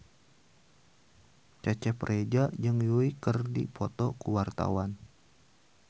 Cecep Reza jeung Yui keur dipoto ku wartawan